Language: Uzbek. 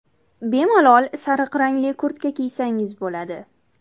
Bemalol sariq rangli kurtka kiysangiz bo‘ladi.